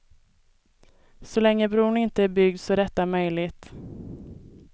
Så länge bron inte är byggd så är detta möjligt.